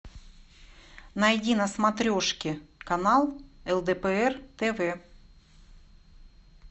найди на смотрешке канал лдпр тв